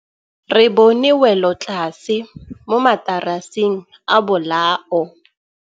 Re bone wêlôtlasê mo mataraseng a bolaô.